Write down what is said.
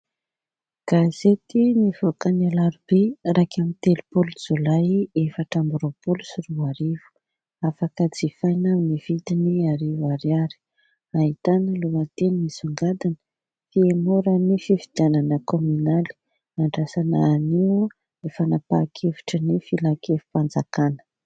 Gazety mivoaka ny alarobia iraika amby telopolo jolay efatra amby roapolo sy roa arivo afaka jifaina amin'ny vidiny arivo ariary. Ahitana lohateny misongadina fiemoran'ny fifidianana kominaly andrasana anio ny fanapahan-kevitrin'ny filakevim-panjakana.